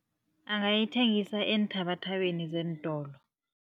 Angayithengisa eenthabathabeni zeentolo.